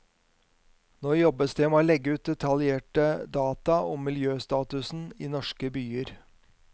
Nå jobbes det med å legge ut detaljerte data om miljøstatusen i norske byer.